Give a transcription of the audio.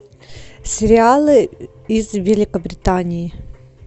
сериалы из великобритании